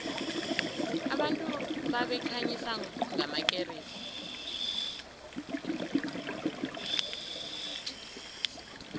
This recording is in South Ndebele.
abantu babekhanyisa ngamakeresi